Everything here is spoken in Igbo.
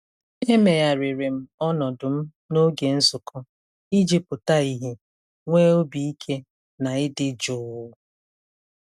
E meregharịrị m ọnọdụ m n'oge nzukọ iji pụta ìhè nwee obi ike na ịdị jụụ.